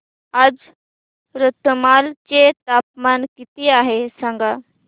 आज रतलाम चे तापमान किती आहे सांगा